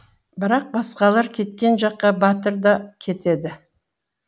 бірақ басқалар кеткен жаққа батыр да кетеді